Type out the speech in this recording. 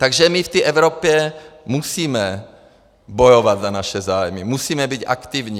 Takže my v té Evropě musíme bojovat za naše zájmy, musíme být aktivní.